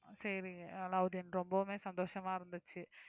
சரிங்க அலாவுதீன் ரொம்பவுமே சந்தோஷமா இருந்துச்சு